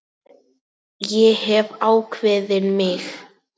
Ég hef ákveðið mig.